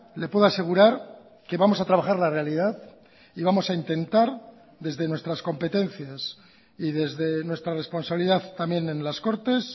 le puedo asegurar que vamos a trabajar la realidad y vamos a intentar desde nuestras competencias y desde nuestra responsabilidad también en las cortes